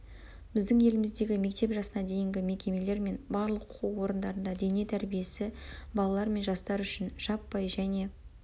біздің еліміздегі мектеп жасына дейінгі мекемелер мен барлық оқу орындарында дене тәрбиесі балалар мен жастар үшін жаппай және